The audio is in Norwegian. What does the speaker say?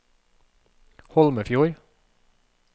Holmefjord